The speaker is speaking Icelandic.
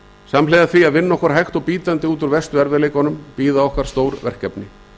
samhliða því að vinna okkur hægt og bítandi út úr verstu erfiðleikunum bíða okkar stór verkefni